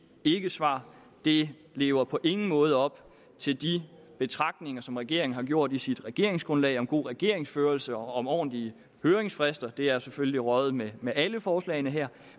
ikkesvar det lever på ingen måde op til de betragtninger som regeringen har gjort i sit regeringsgrundlag om god regeringsførelse og om ordentlige høringsfrister det er selvfølgelig røget væk med alle forslagene her